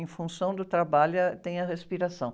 Em função do trabalho, é ah, tem a respiração.